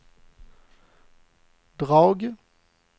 drag